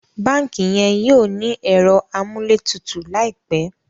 bánkì yen yóò ní Ẹ̀rọ amúlétutù láìpé